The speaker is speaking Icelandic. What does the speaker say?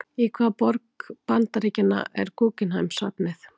Í hvaða borg Bandaríkjanna er Guggenheim-listasafnið?